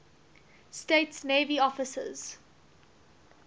states navy officers